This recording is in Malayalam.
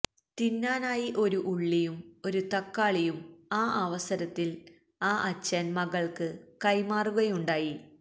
തിന്നാനായി ഒരു ഉള്ളിയും ഒരു തക്കാളിയും ആ അവസരത്തില് ആ അച്ഛന് മകള്ക്ക് കൈമാറുകയുണ്ടായി